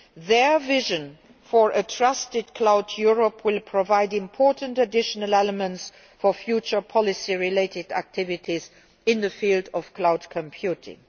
Their vision for a trusted cloud Europe will provide important additional elements for future policy related activities in the field of cloud computing.